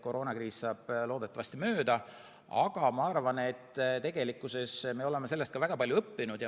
Koroonakriis saab loodetavasti mööda, aga ma arvan, et me oleme sellest ka väga palju õppinud.